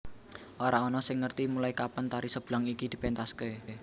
Ora ana sing ngerti mulai kapan tari Seblang iki dipentaske